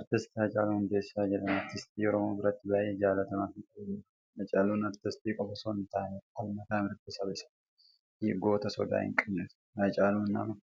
Artist Hacaaluu Hundeessaa jedhama. Aristii Oromoo biratti baay'ee jallatamaa fi kabajamaadha. Hacaaluun Artistii qofa osoo hin taane falmataa mirga saba isaati fi goota sodaa hin qabne ture. Hacaaluun nama